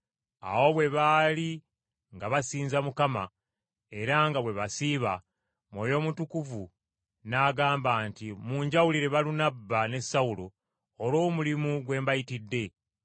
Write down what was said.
Awo bwe baali nga basinza Mukama era nga bwe basiiba, Mwoyo Mutukuvu n’agamba nti, “Munjawulire Balunabba ne Sawulo olw’omulimu gwe mbayitidde.”